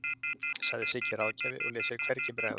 sagði Siggi ráðgjafi og lét sér hvergi bregða.